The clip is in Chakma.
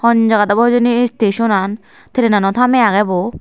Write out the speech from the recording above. hon jagat obo hejeni e station an trainano tamey agey bo.